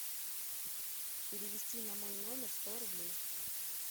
перевести на мой номер сто рублей